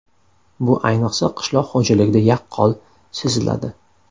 Bu ayniqsa qishloq xo‘jaligida yaqqol seziladi.